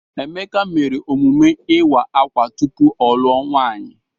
Emeka mere emume ịwa akwa tupu ọ luo nwaanyi.